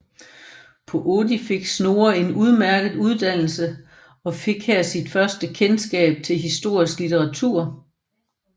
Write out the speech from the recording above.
På Oddi fik Snorre en udmærket uddannelse og fik her sin første kendskab til historisk litteratur